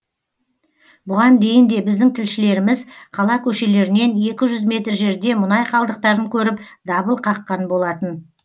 бұған дейін де біздің тілшілеріміз қала көшелерінен екі жүз метр жерде мұнай қалдықтарын көріп дабыл қаққан болатын